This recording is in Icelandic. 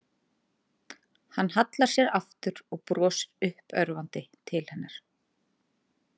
Hann hallar sér aftur og brosir uppörvandi til hennar.